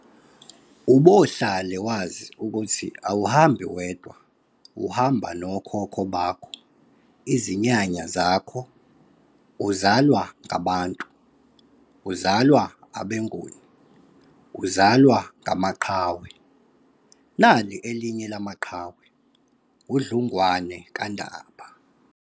Obohlale wazi ukuthi awuhambi wedwa, uhamba nokhokho bakho, izinyanya zakho, uzalwa ngabantu, uzalwa abeNguni! uzalwa ngamaqhawenali elinye lalamaqhawe, uDlungwane kaNdaba!